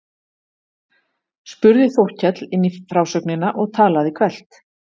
spurði Þórkell inn í frásögnina og talaði hvellt.